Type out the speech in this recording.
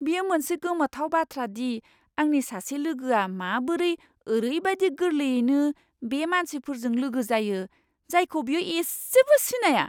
बेयो मोनसे गोमोथाव बाथ्रा दि आंनि सासे लोगोआ माबोरै ओरैबायदि गोरलैयैनो बै मानसिफोरजों लोगो जायो, जायखौ बियो इसेबो सिनाया!